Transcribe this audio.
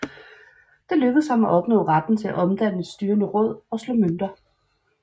Det lykkedes ham at opnå retten til at danne et styrende råd og at slå mønter